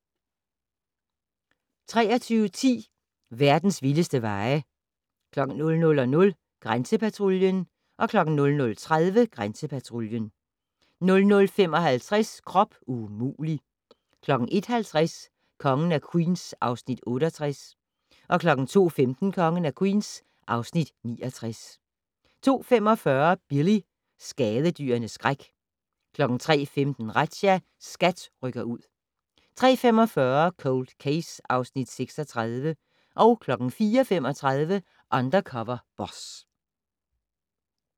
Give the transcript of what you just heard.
23:10: Verdens vildeste veje 00:00: Grænsepatruljen 00:30: Grænsepatruljen 00:55: Krop umulig! 01:50: Kongen af Queens (Afs. 68) 02:15: Kongen af Queens (Afs. 69) 02:45: Billy - skadedyrenes skræk 03:15: Razzia - SKAT rykker ud 03:45: Cold Case (Afs. 36) 04:35: Undercover Boss